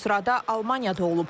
Bu sırada Almaniya da olub.